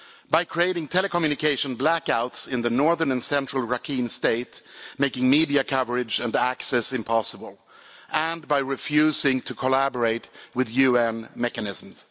By creating telecommunication blackouts in the northern and central parts of Rakhine state, making media coverage and access impossible, and by refusing to collaborate with UN mechanisms.